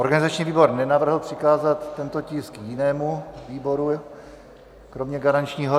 Organizační výbor nenavrhl přikázat tento tisk jinému výboru kromě garančního.